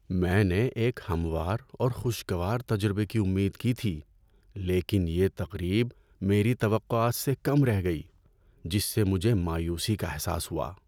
میں نے ایک ہموار اور خوشگوار تجربے کی امید کی تھی، لیکن یہ تقریب میری توقعات سے کم رہ گئی، جس سے مجھے مایوسی کا احساس ہوا۔